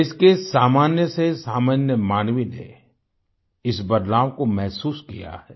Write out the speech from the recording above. देश के सामान्य से सामान्य मानवी ने इस बदलाव को महसूस किया है